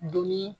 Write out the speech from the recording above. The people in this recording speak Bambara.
Dunni